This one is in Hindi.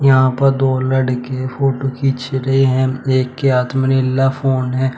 यहां पर दो लड़के फोटो खींच रहे हैं एक के हाथ में निल्ला फोन है।